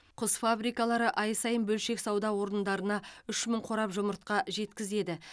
құс фабрикалары ай сайын бөлшек сауда орындарына үш мың қорап жұмыртқа жеткізеді